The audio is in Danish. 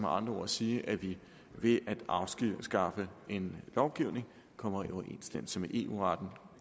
andre ord sige at vi ved at afskaffe en lovgivning kommer i overensstemmelse med eu retten